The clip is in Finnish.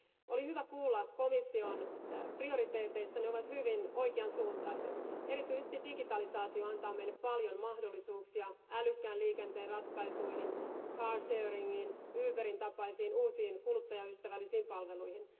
Oli hyvä kuulla komission prioriteeteista, ne ovat hyvin oikeansuuntaiset. Erityisesti digitalisaatio antaa meille paljon mahdollisuuksia älykkään liikenteen ratkaisuihin, carsharingin, Uberin tapaisiin uusiin kuluttajaystävällisiin palveluihin.